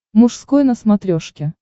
мужской на смотрешке